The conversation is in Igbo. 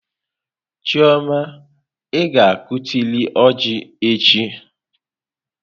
Chioma, ị ga-akụtịrị ọjị echi!